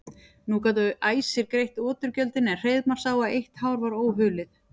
Nú gátu æsir greitt oturgjöldin en Hreiðmar sá að eitt hár var óhulið.